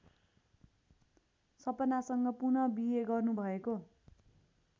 सपनासँग पुनःबिहे गर्नुभएको